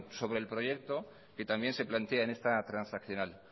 sobre el proyecto que también se plantea en esta transaccional